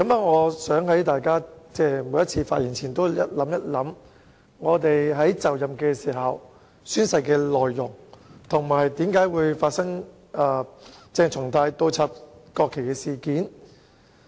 我希望大家在每次發言前也想一想，我們宣誓就任時的誓言內容，以及發生鄭松泰倒插國旗事件的原因。